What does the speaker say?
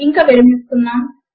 ఇంక విరమిస్తున్నాము